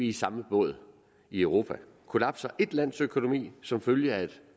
i samme båd i europa kollapser et lands økonomi som følge af et